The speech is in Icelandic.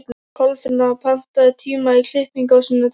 Kolfinna, pantaðu tíma í klippingu á sunnudaginn.